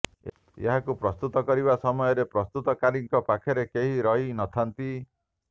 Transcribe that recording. ଏହାକୁ ପ୍ରସ୍ତୁତ କରିବା ସମୟରେ ପ୍ରସ୍ତୁତକାରୀଙ୍କ ପାଖରେ କେହି ରହି ନ ଥାନ୍ତି